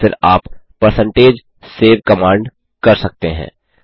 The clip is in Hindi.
और फिर आप परसेंटेज सेव कमांड कर सकते हैं